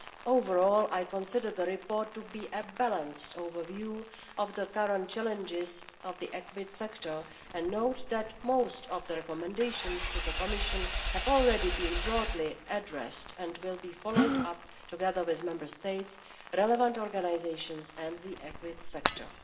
Overall, I consider the report to be a balanced overview of the current challenges of the equid sector and note that most of the recommendations to the Commission have already been broadly addressed and will be followed up, together with Member States, relevant organisations and the equid sector.